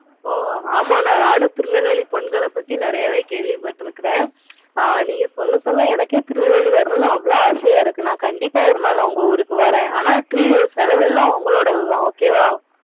ஓ ஆமா ல நானும் திருநெல்வேலி பொண்ணுங்கள பத்தி நெறையாவே கேள்வி பாத்துருக்கேன். ஆஹ் நீங்க சொல்ல சொல்ல எனக்கே திருநெல்வேலி வரணும் ஆசையா இருக்குது. நா கண்டிப்பா உங்க ஊருக்கு வருவேன். ஆனா செலவு எல்லாம் உங்களோடது தான் okay வா